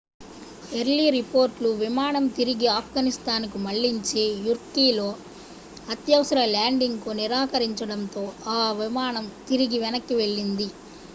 early రిపోర్టులు విమానం తిరిగి ఆఫ్గనిస్తాన్ కు మళ్లించి యుర్మ్కీలో అత్యవసర ల్యాండింగ్ కు నిరాకరించడంతో ఈ విమానం తిరిగి వెనక్కి మళ్లింది